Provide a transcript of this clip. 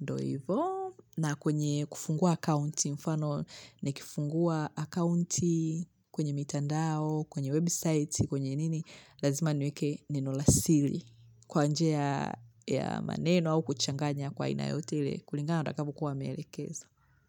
ndo hivo na kwenye kufungua akaunti mfano nikifungua akaunti kwenye mitandao kwenye website kwenye nini lazima niweke neno la sili kwa njia ya maneno au kuchanganya kwa aina yote ile kulingana na watakavyo kuwa wameelekeza.